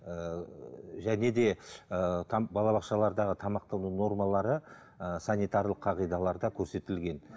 ыыы және де ыыы балабақшалардағы тамақтардың нормалары ыыы санитарлық қағидаларда көрсетілген